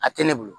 A tɛ ne bolo